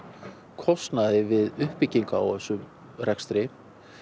kostnaði við uppbyggingu á þessum rekstri